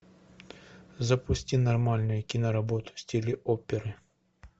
запусти нормальную киноработу в стиле оперы